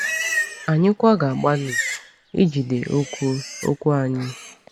Anyị kwa ga-agbalị ijide okwu okwu anyị.